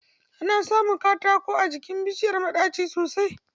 Ana samun katako a jikin bishiyar maɗaci sosai